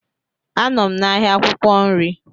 Anọ m n'ahịa akwukwo nri.